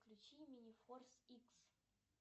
включи минифорс икс